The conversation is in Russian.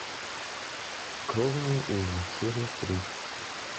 кровные узы серия три